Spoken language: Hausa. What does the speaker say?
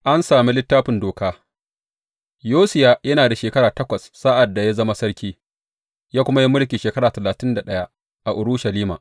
An sami Littafin Doka Yosiya yana da shekara takwas sa’ad da ya zama sarki, ya kuma yi mulki shekara talatin da ɗaya a Urushalima.